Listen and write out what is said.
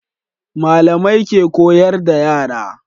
Malamai ke koyar da yara